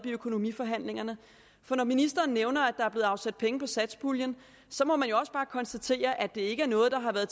økonomiforhandlingerne for når ministeren nævner at der er blevet afsat penge fra satspuljen må man jo også bare konstatere at det ikke er noget der har været